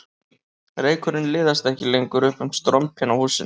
Reykurinn liðast ekki lengur upp um strompinn á húsinu